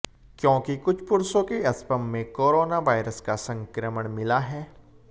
क्योंकि कुछ पुरुषों के स्पर्म में कोरोना वायरस का संक्रमण मिला है